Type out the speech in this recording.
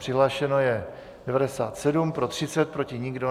Přihlášeno je 97, pro 30, proti nikdo.